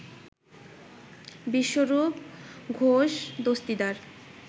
Biswarup Ghosh Dastidar